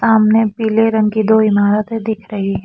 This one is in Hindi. सामने पिले रंग की दो इमारते दिख रही है।